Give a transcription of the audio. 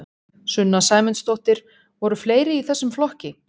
Sunna Sæmundsdóttir: Voru fleiri í þessum flokki?